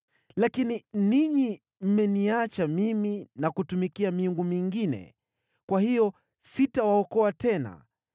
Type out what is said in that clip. Lakini ninyi mmeniacha mimi na kutumikia miungu mingine, kwa hiyo sitawaokoa tena.